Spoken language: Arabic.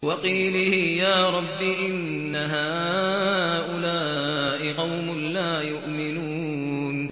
وَقِيلِهِ يَا رَبِّ إِنَّ هَٰؤُلَاءِ قَوْمٌ لَّا يُؤْمِنُونَ